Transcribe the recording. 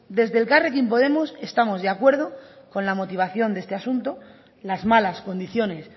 desde elkarrekin podemos estamos de acuerdo con la motivación de este asunto las malas condiciones